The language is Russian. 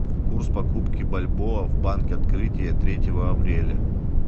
курс покупки бальбоа в банке открытие третьего апреля